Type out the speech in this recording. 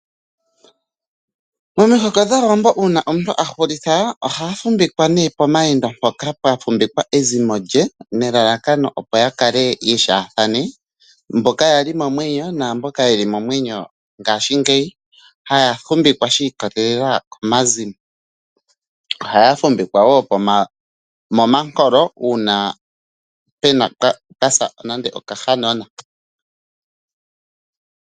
Momihoko dhaawambo uuna omuntu ahulitha ohaya fumvikwa nee pomawendo mpoka pwa fumvikwa ezimo lye nelalakano opo yakale ye sheethane ,mboka yali momwenyo naamboka yelipo ngaashingeyi haya fumvikwa shi ikolelela komazimo . Ohaya fumvikwa woo momankolo uuna pwasa nande okahanona